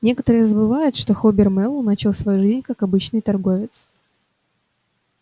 некоторые забывают что хобер мэллоу начинал свою жизнь как обычный торговец